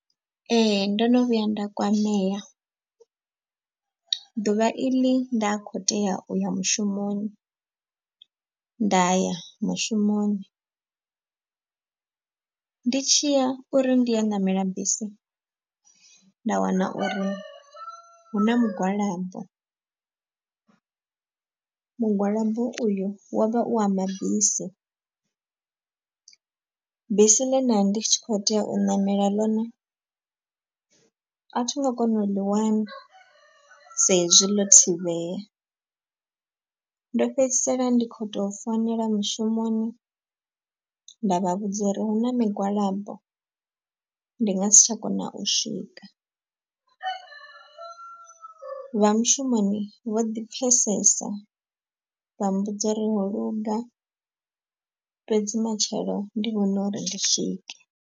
Ee ndo no vhuya nda kwamea, ḓuvha iḽi nda kho tea uya mushumoni. Nda ya mushumoni ndi tshiya uri ndi yo ṋamela bisi nda wana uri hu na mugwalabo. Mugwalabo uyu wo vha u awa mabisi, bisi ḽe nda ndi tshi kho tea u ṋamela ḽone a thi ngo kona u ḽi wana sa izwi ḽo thivhela. Mdo fhedzisela ndi khou tou founela mushumoni nda vha vhudza uri hu na migwalabo ndi nga si tsha kona u swika. Vha mushumoni vho ḓi pfesesa vha mmbudza uri holuga fhedzi matshelo ndi vhona uri ndi swike.